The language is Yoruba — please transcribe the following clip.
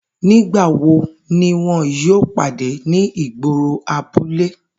Nigbawo ni wọn yoo pade ni igboro abule?